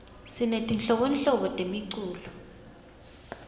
sinetinhlobonhlobo temiculo